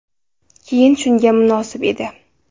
Keyn shunga munosib edi.